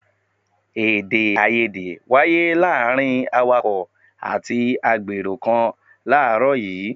Èdè-áiyedé wáyé láàárín awàkọ̀ àti àgbèrò kan láàrọ́ yìí.